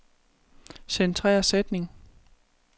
Centrer sætning.